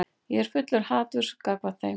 Ég er fullur haturs gagnvart þeim.